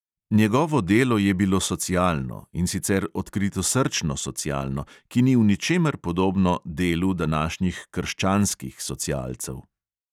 Njegovo delo je bilo socialno, in sicer odkritosrčno socialno, ki ni v ničemer podobno "delu" današnjih "krščanskih" socialcev.